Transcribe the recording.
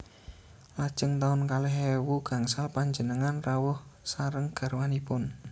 Lajeng taun kalih ewu gangsal panjenengan rawuh sareng garwanipun